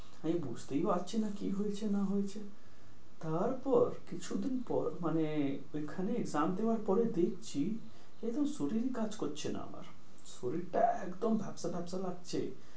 আমি বুঝতেই পারছি না কি হয়েছে না হয়েছে, তারপর কিছুদিন পর মানে ওইখান exam দেয়ার পরে দেখছি কি একদম শরীরই কাজ করছে না আমার। শরীরটা একদম ঢেপসা ঢেপসা লাগছে।